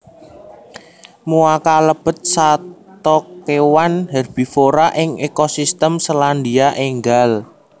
Moa kalebet sato kewan herbivora ing ekosistem Selandia Ènggal